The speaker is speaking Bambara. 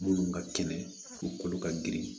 Munnu ka kɛnɛ u kolo ka girin